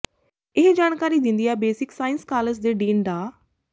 ਇਹ ਜਾਣਕਾਰੀ ਦਿੰਦਿਆਂ ਬੇਸਿਕ ਸਾਇੰਸਜ਼ ਕਾਲਜ ਦੇ ਡੀਨ ਡਾ